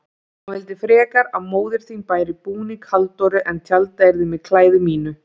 Hann vildi frekar að móðir þín bæri búning Halldóru en tjaldað yrði með klæði mínu.